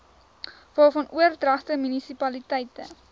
waarvan oordragte munisipaliteite